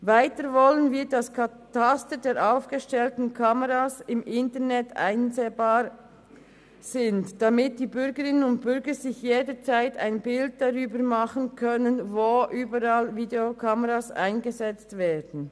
Weiter wollen wir, dass das Kataster der aufgestellten Kameras im Internet einsehbar sind, damit die Bürgerinnen und Bürger sich jederzeit ein Bild darüber machen können, wo überall Videokameras eingesetzt werden.